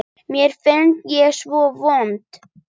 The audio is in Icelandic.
Mér fannst ég svo vond.